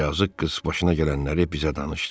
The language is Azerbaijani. Yazıq qız başına gələnləri bizə danışdı.